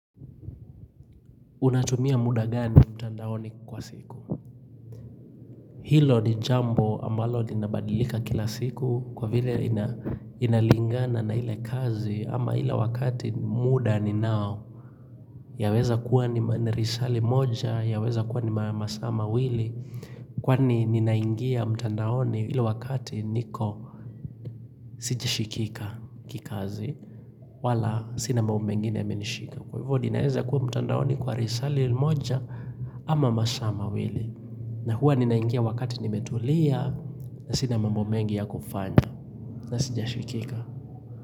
Unatumia muda gani mtandaoni kwa siku? Hilo ni jambo ambalo linabadilika kila siku kwa vile ina inalingana na ile kazi ama ile wakati muda ni nao. Yaweza kuwa ni risali moja, yaweza kuwa ni ma ma saa mawili. Kwa ni ninaingia mtandaoni ile wakati niko sijashikika kikazi wala sina mambo mengine yamenishika. Kwa hivyo ni naweza kuwa mtandaoni kwa risali moja ama masaa mawili. Na huwa ninaingia wakati nimetulia na sina mambo mengi ya kufanya na sija shikika.